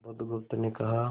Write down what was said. बुधगुप्त ने कहा